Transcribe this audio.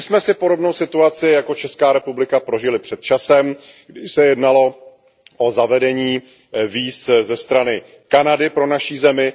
My jsme si podobnou situaci jako Česká republika prožili před časem, kdy se jednalo o zavedení víz ze strany Kanady pro naši zemi.